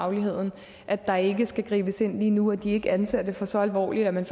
fagligheden at der ikke skal gribes ind lige nu og at de ikke anser det for så alvorligt at man